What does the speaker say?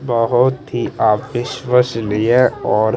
बहोत ही अविश्वसनीय और--